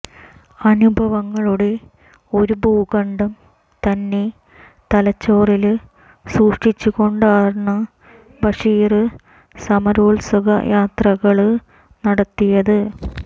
അനുഭവങ്ങളുടെ ഒരു ഭൂഖണ്ഡം തന്നെ തലച്ചോറില് സൂക്ഷിച്ചുകൊണ്ടാണ് ബഷീര് സമരോത്സുകയാത്രകള് നടത്തിയത്